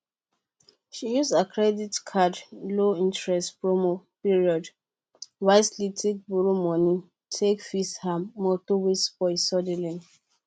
she used her credit card low interest promo period wisely take borrow money take fix her motor wey spoil suddenly